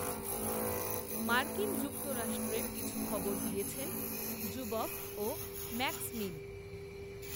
মার্কিন যুক্তরাষ্ট্রের কিছু খবর দিয়েছেন জুবফ ও ম্যাক্সমিন